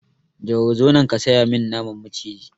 Jauro zo nan ka saya min naman maciji!